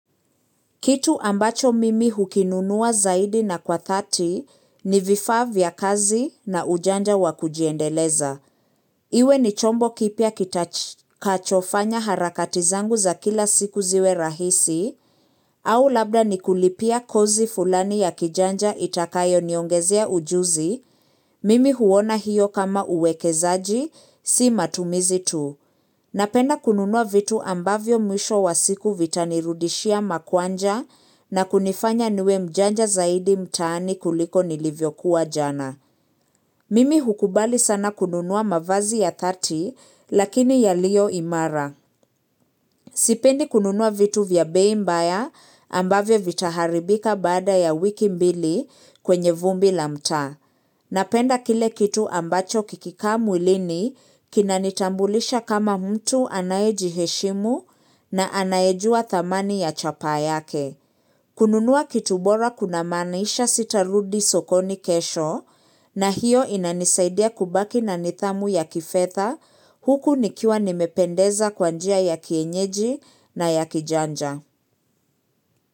Kitu ambacho mimi hukinunua zaidi na kwa thati ni vifaa vya kazi na ujanja wa kujiendeleza. Iwe ni chombo kipya kitachofanya harakati zangu za kila siku ziwe rahisi, au labda ni kulipia kozi fulani ya kijanja itakayo niongezea ujuzi, mimi huona hiyo kama uwekezaji, si matumizi tu. Napenda kununua vitu ambavyo mwisho wa siku vitanirudishia makwanja na kunifanya niwe mjanja zaidi mtaani kuliko nilivyokuwa jana. Mimi hukubali sana kununua mavazi ya thati lakini ya liyo imara. Sipendi kununua vitu vya bei mbaya ambavyo vitaharibika baada ya wiki mbili kwenye vumbi la mtaa. Napenda kile kitu ambacho kikikaa mwilini kinanitambulisha kama mtu anaejiheshimu na anayejua thamani ya chapaa yake. Kununua kitu bora kunamaanisha sitarudi sokoni kesho na hiyo inanisaidia kubaki na nidhamu ya kifedha huku nikiwa nimependeza kwa njia ya kienyeji na ya kijanja.